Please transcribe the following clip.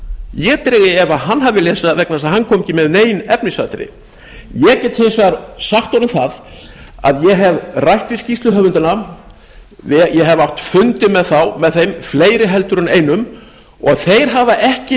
ég dreg í efa að hann hafi lesið það vegna þess að hann kom ekki með nein efnisatriði ég get hins vegar sagt honum það að ég hef rætt við skýrsluhöfunda ég hef átt fundi með þeim fleiri heldur en einum og þeir hafa ekki